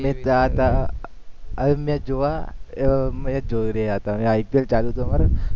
અવે મે જોવા અમે જોઈ રહ્યા હતા હવે આઈ પી એલ ચાલુ થવાનુ